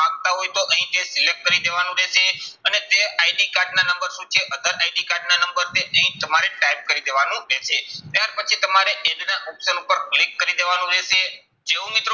માંગતા હોય તો અહીં તે select કરી દેવાનું રહેશે અને તે ID કાર્ડના નંબર શું છે other ID કાર્ડના નંબર તે અહીં તમારે select કરી દેવાનું રહેશે. ત્યાર પછી તમારે age ના option ઉપર click કરી દેવાનું રહેશે. જેવું મિત્રો